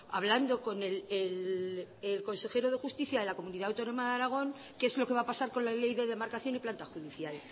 hablando con el consejero de justicia de la comunidad autónoma de aragón que es lo que va a pasar con la ley de demarcación y planta judicial